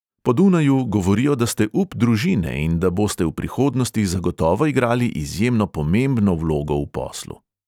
Po dunaju govorijo, da ste up družine in da boste v prihodnosti zagotovo igrali izjemno pomembno vlogo v poslu.